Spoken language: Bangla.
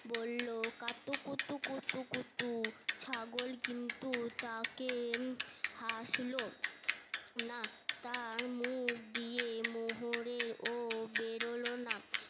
বললো কাতুকুতু কুতুকুতু ছাগল কিন্তু তাতে হাসলো না তার মুখ দিয়ে মোহর ও বেরোল না